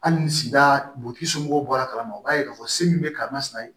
Hali ni sida butigimɔgɔw bɔra kala ma u b'a ye k'a fɔ se min bɛ karama ye